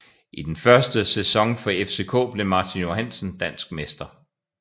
I den første sæson for FCK blev Martin Johansen dansk mester